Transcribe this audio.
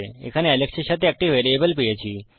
এখানে আলেক্স এর সাথে একটি ভ্যারিয়েবল পেয়েছি